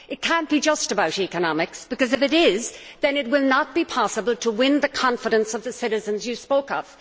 It cannot be just about economics because, if it is, then it will not be possible to win the confidence of the citizens you spoke of.